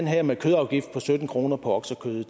her med kødafgift på sytten kroner på oksekød